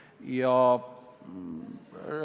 Ma pean kiitma seda meest, kes siin mu selja taga on.